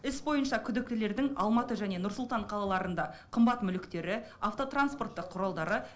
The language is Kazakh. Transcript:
іс бойынша күдіктілердің алматы және нұр сұлтан қалаларында қымбат мүліктері автотранспорттық құралдары